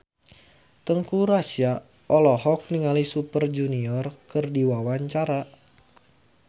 Teuku Rassya olohok ningali Super Junior keur diwawancara